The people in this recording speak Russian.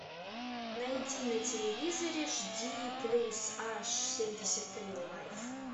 найди на телевизоре жди плюс аш семьдесят три лайф